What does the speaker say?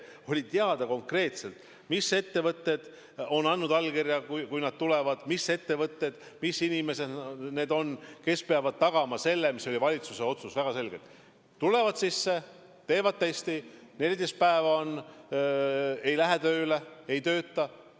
Oli teada konkreetselt, mis ettevõtted on andnud allkirja, kui nad tulevad, mis ettevõtted, mis inimesed need on, kes peavad tagama selle, mis oli valitsuse otsuses väga selgelt: tulevad siia, teevad testi, 14 päeva ei lähe tööle, ei tööta.